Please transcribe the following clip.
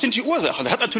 Was sind die Ursachen?